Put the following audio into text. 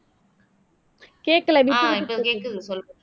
கேக்கல விட்டுவிட்டு கேக்குது